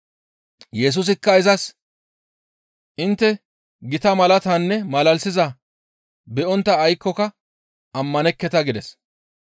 Yesusikka izas, «Intte gita malaatatanne malalisizaaz be7ontta aykkoka ammanekketa» gides.